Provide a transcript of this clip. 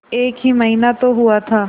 एक ही महीना तो हुआ था